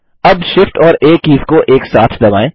अब Shift और आ कीज़ को एक साथ दबाएँ